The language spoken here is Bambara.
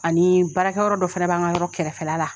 Ani baarakɛyɔrɔ dɔ fana bɛ an ka yɔrɔ kɛrɛfɛla la.